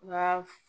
Nka